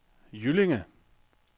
Jyllinge